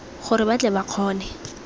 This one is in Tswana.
gore ba tle ba kgone